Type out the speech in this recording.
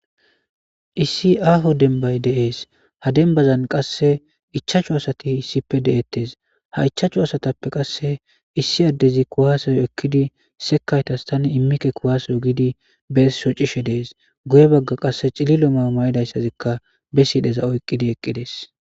issi aaho denbay deees ha denbazan qasse ichachu asati issippe de7ettes ha ichaachu asatappe qasse issi addezi kuwasoyo ekkidi sekaytas tani immikke kuwasoyo gidi be shocishe dees guye bagga qasse cililo ma may7idayssazikka be siidheza oyqqidi eqqides